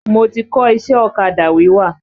Mo ti kọ́ iṣẹ́ ọ̀kadà wíwà.